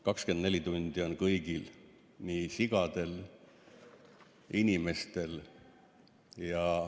24 tundi on kõigil, nii sigadel kui ka inimestel.